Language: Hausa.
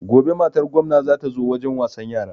Gobe matar gomna za ta zo wajen wasan yara